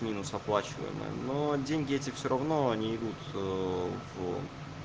минус оплачиваемая но деньги эти всё равно они идут в